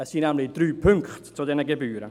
Es gibt nämlich drei Punkte zu diesen Gebühren.